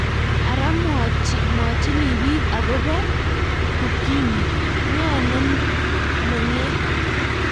ara mwochini biik akobo ukimwi, ng'o nemenget?